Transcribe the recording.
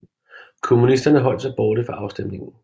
Kommunisterne holdt sig borte fra afstemningen